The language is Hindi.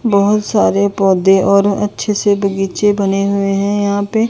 बहोत सारे पौधे और अच्छे से बगीचे बने हुए हैं यहां पे--